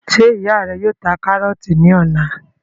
Njẹ ìyá rẹ yóò ta karọọti ní ọ̀la?